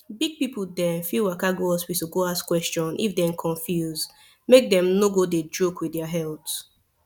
big people dem fit waka go hospital go ask question if dem confuse make dem no go dey joke with their health